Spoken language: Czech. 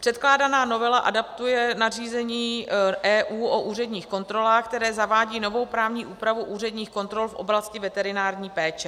Předkládaná novela adaptuje nařízení EU o úředních kontrolách, které zavádí novou právní úpravu úředních kontrol v oblasti veterinární péče.